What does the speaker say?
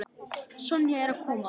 Sonja er að koma.